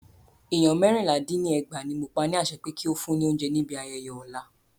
Ènìyàn mẹ́rìnlá dín ní ẹgbàá ní mo pa ni àṣẹ pé kí o fún ni óúnjẹ ní ibi ayẹyẹ ọ̀la.